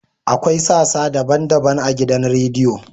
Akwai sassa daban-daban a gidan rediyo.